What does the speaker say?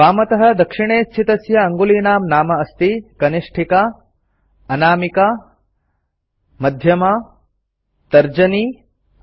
वामतः दक्षिणे स्थितस्य अङुलीनां नाम अस्ति कनिष्ठिका अनामिका मध्यमा तर्जनी